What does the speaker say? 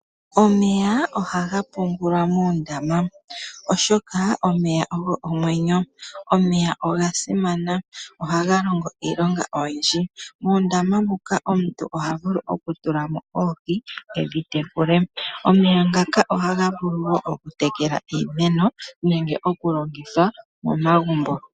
Omeya ohaga pungulwa moondama oshoka omeya ogo omweyo. Omeya ogasimana, ohaga longo iilonga oyindji. Muundama muka omuntu ohavulu oku tulamo oohi edhi tekule. Omeya ngaka ohaga vulu woo oku tekela iimeno nenge oku longitha momagumbo.